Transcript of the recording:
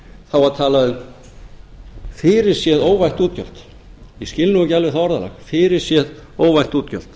þá var talað um fyrirséð óvænt útgjöld ég skil nú ekki alveg það orðalag fyrirséð óvænt útgjöld